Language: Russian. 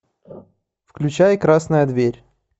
включай красная дверь